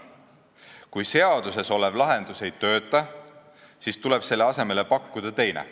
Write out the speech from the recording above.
Kui seaduses olev lahendus ei tööta, siis tuleb selle asemele pakkuda teine.